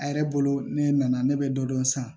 A yɛrɛ bolo ne nana ne bɛ dɔ dɔn san